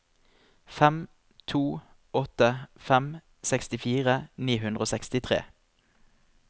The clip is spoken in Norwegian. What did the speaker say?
fem to åtte fem sekstifire ni hundre og sekstitre